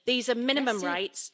These are minimum rights.